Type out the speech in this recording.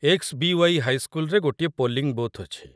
XBY. ହାଇସ୍କୁଲରେ ଗୋଟିଏ polling booth ଅଛି ।